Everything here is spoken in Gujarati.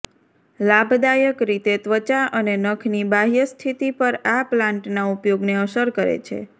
લાભદાયક રીતે ત્વચા અને નખની બાહ્ય સ્થિતિ પર આ પ્લાન્ટના ઉપયોગને અસર કરે છે